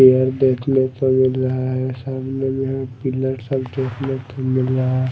पेड़ देखने को मिल रहा है। सामने में पिलर सब देखने को मिल रहा है।